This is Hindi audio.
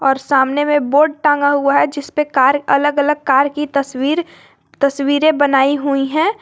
सामने में बोर्ड टांगा हुआ है जिस पे कार अलग अलग कार की तस्वीर तस्वीरे बनाई हुई है।